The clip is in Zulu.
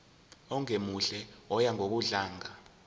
ongemuhle oya ngokudlanga